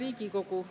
Hea Riigikogu!